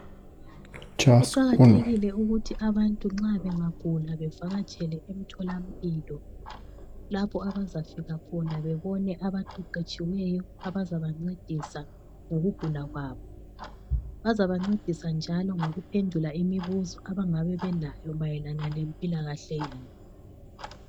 Kuqakathekile ukuthi abantu nxa bengagula bevakatshele emtholampilo lapho abazafika khona bebone abaqeqetshiweyo abazabancedisa ngokugula kwabo. Bazabancedisa njalo ngokuphendula imibuzo abangabe belayo mayelana lempilakahle yabo.